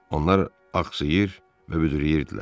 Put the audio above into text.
Onlar axsayır və büdürləyirdilər.